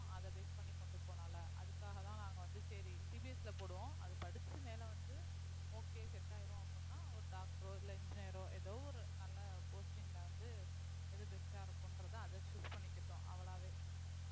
அத base பண்ணி கொண்டு போகலாம்ல அதுக்காகதான் நாங்க வந்து சரி CBSE ல போடுவோம் அது படிச்சு மேல வந்து okay set ஆயிரும் அப்படின்னா ஒரு doctor ஓ இல்ல engineer ஓ ஏதோ ஒரு நல்ல posting ல வந்து எது best ஆ இருக்கும்ன்றத அதை choose பண்ணிக்கட்டும் அவளாவே